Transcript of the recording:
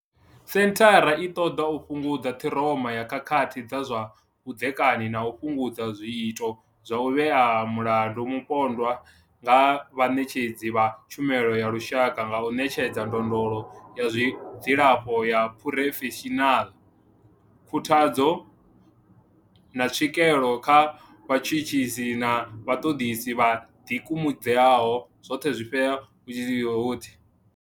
Senthara i ṱoḓa u fhungudza ṱhiroma ya khakhathi dza zwa vhudzekani na u fhungudza zwiito zwa u vhea mulandu mupondwa nga vhaṋetshedzi vha tshumelo ya lushaka nga u ṋetshedza ndondolo ya zwa dzilafho ya phurofeshinala, khuthadzo, na tswikelo kha vhatshutshisi na vhaṱoḓisi vho ḓikumedzaho